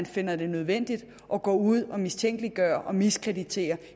finder det nødvendigt at gå ud og mistænkeliggøre og miskreditere